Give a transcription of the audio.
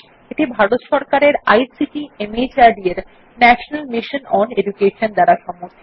এটি ভারত সরকারের আইসিটি মাহর্দ এর ন্যাশনাল মিশন ওন এডুকেশন দ্বারা সমর্থিত